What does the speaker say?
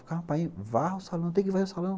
Ficava, painho, varra o salão, tem que varrer o salão.